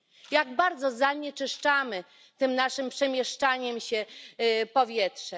Jak bardzo zanieczyszczamy tym naszym przemieszczaniem się powietrze!